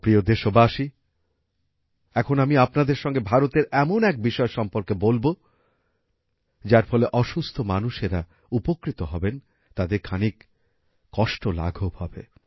আমার প্রিয় দেশবাসী এখন আমি আপনাদের সঙ্গে ভারতের এমন এক বিষয় সম্পর্কে বলব যার ফলে অসুস্থ মানুষেরা উপকৃত হবেন তাদের খানিক কষ্ট লাঘব হবে